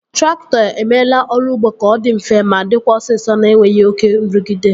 Traktọ emeela ọrụ ụgbọ ka ọ dị mfe ma dịkwa osisọ na-enweghị oké nrụgide